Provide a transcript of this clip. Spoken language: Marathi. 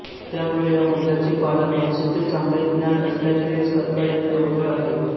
त्यामुळे त्या मुद्द्याचे पालन भाषेचे चांगले ज्ञान असल्याखेरीज करता येणे अवघड आहे